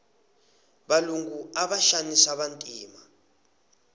valungu ava xanisa vantima